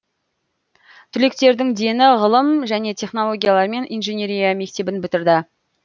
түлектердің дені ғылым және технологиялар мен инженерия мектебін бітірді